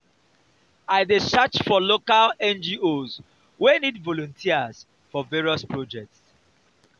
i dey search for local ngos wey need volunteers for various projects.